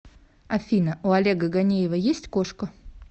афина у олега ганеева есть кошка